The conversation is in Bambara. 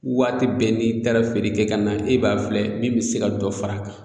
Waati bɛɛ n'i taara feere kɛ ka na e b'a filɛ min be se ka dɔ fara a kan